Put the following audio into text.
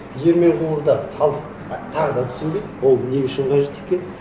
диірмен құрылды халық тағы да түсінбейді ол не үшін қажет екенін